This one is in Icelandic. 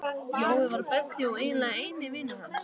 Jói var besti og eiginlega eini vinur hans.